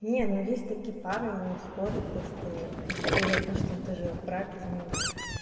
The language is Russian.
не ну есть такие пары не спорю то что если допустим ты же в браке замужняя